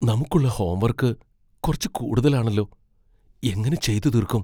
നമുക്കുള്ള ഹോംവർക്ക് കുറച്ച് കൂടുതലാണെല്ലോ. എങ്ങനെ ചെയ്തു തീർക്കും ?